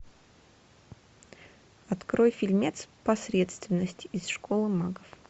открой фильмец посредственность из школы магов